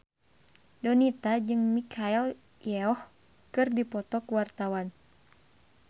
Donita jeung Michelle Yeoh keur dipoto ku wartawan